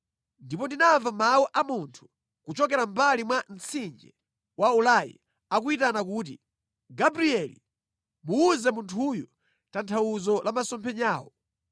Ndipo ndinamva mawu a munthu kuchokera mʼmbali mwa mtsinje wa Ulai akuyitana kuti, “Gabrieli, muwuze munthuyu tanthauzo la masomphenyawo.”